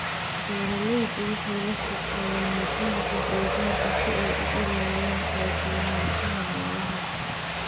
Beeraleydu waxay la shaqeeyaan nidaamka deegaanka si ay u ilaaliyaan kala duwanaanshaha noolaha.